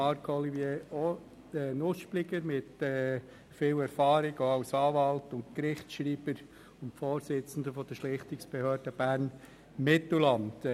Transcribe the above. Marc-Olivier Nuspliger mit viel Erfahrung als Anwalt und Gerichtsschreiber sowie Vorsitzender der Schlichtungsbehörde Bern-Mittelland.